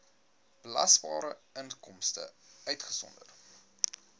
belasbare inkomste uitgesonderd